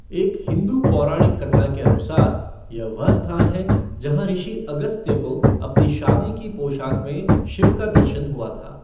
एक हिंदू पौराणिक कथा के अनुसार, यह वह स्थान है जहाँ ऋषि अगस्त्य को अपनी शादी की पोशाक में शिव का दर्शन हुआ था।